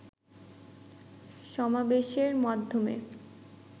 সমাবেশের মাধ্যমে